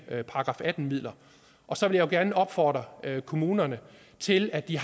§ atten midler så vil jeg gerne opfordre kommunerne til at de